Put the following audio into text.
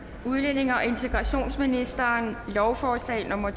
udlændinge og integrationsministeren lovforslag nummer